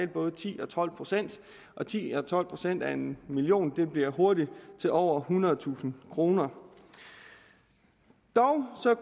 både ti og tolv procent og ti eller tolv procent af en million bliver hurtigt til over ethundredetusind kroner dog